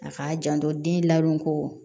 A k'a janto den labɔ koo